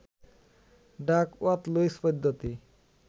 Duckworth Lewis পদ্ধতি